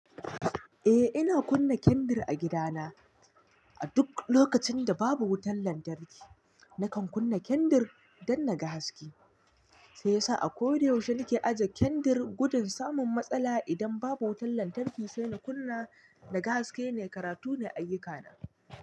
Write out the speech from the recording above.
Eh, ina kunna kendir a gida na. A duk lokacin da babu wutan lantarki, nakan kunna kendir dan naga haske. Sai sa a koda yaushe nake aje kendir gudun samun matsala idan babu wutan lantarki, sai in kunna naga haske ne, karatu ne ayuka na.